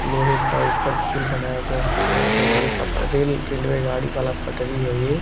लोहे का ऊपर पुल बनाया गया है हमको लग रहा रेलवे का रेल रेलवे गाड़ी वाला पटड़ी है ये।